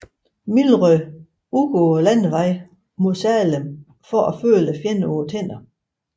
Milroy ud på landevejen mod Salem for at føle fjenden på tænderne